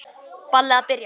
Ballið að byrja.